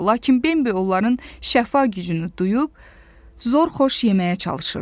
Lakin Bembi onların şəfa gücünü duyub, zor-xoş yeməyə çalışırdı.